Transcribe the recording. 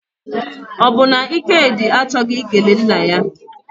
Ọ bụ na Ikedi achọghị ikele nna ya?